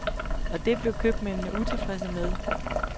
Og det blev købmændene utilfredse med.